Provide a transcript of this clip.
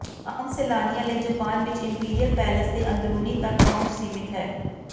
ਆਮ ਸੈਲਾਨੀਆਂ ਲਈ ਜਪਾਨ ਵਿਚ ਇੰਪੀਰੀਅਲ ਪੈਲੇਸ ਦੇ ਅੰਦਰੂਨੀ ਤਕ ਪਹੁੰਚ ਸੀਮਿਤ ਹੈ